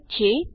ઠીક છે